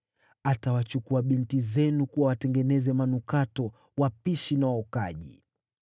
Atawachukua binti zenu kuwa watengeneza manukato, wapishi na waokaji.